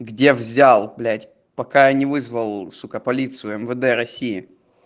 где взял блять пока я не вызвал сука полицию мвд россии